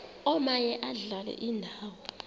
omaye adlale indawo